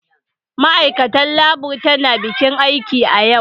Ma'aikatar Labour tana bakin aiki a yau.